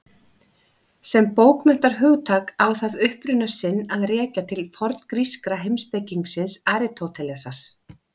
Sem bókmenntahugtak á það uppruna sinn að rekja til forngríska heimspekingsins Aristótelesar.